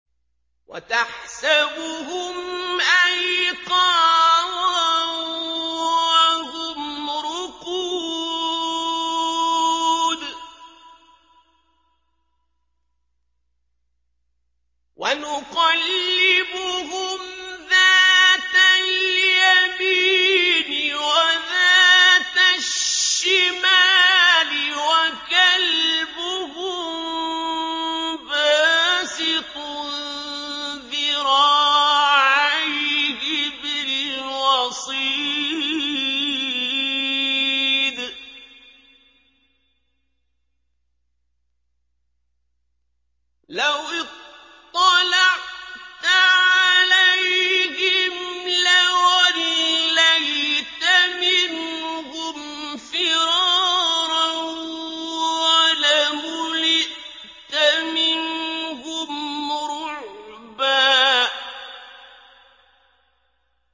وَتَحْسَبُهُمْ أَيْقَاظًا وَهُمْ رُقُودٌ ۚ وَنُقَلِّبُهُمْ ذَاتَ الْيَمِينِ وَذَاتَ الشِّمَالِ ۖ وَكَلْبُهُم بَاسِطٌ ذِرَاعَيْهِ بِالْوَصِيدِ ۚ لَوِ اطَّلَعْتَ عَلَيْهِمْ لَوَلَّيْتَ مِنْهُمْ فِرَارًا وَلَمُلِئْتَ مِنْهُمْ رُعْبًا